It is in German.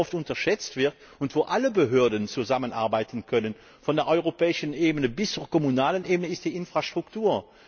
Aber was sehr oft unterschätzt wird und wo alle Behörden zusammenarbeiten können von der europäischen bis zur kommunalen Ebene ist die Infrastruktur.